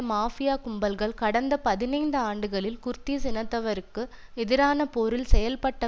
mafia கும்பல்கள் கடந்த பதினைந்துஆண்டுகளில் குர்திஸ் இனத்தவருக்கு எதிரான போரில் செயல்பட்ட